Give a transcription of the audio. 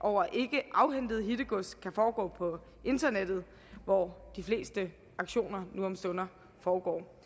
over ikkeafhentet hittegods kan foregå på internettet hvor de fleste auktioner nu om stunder foregår